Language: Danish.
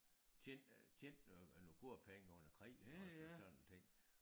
Tjente øh tjente noget øh nogle gode penge under æ krig iggås og sådan nogle ting